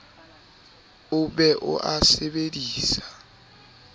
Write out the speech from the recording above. o be o a sebedise